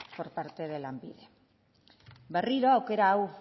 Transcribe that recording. por parte de lanbide berriro aukera hau